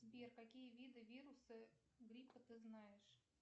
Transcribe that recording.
сбер какие виды вируса гриппа ты знаешь